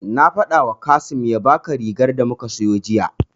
Na faɗawa Kasim ya baka rigar da muka siyo jiya.